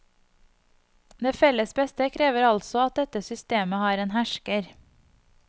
Det felles beste krever altså at dette systemet har en hersker.